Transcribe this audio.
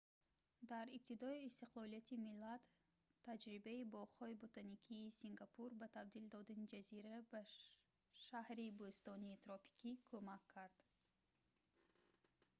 дар ибтидои истиқлолияти миллат таҷрибаи боғҳои ботаникии сингапур ба табдил додани ҷазира ба шаҳри бӯстонии тропикӣ кумак кард